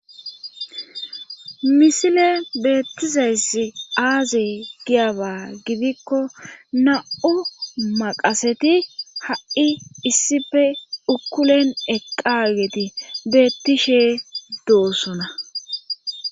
misile beettizayss aazi giyaba gidikko na7u maqaseti ha7i issife ukkulen eqqageti beettishe doosona